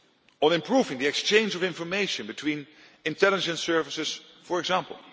On improving the exchange of information between intelligence services, for example.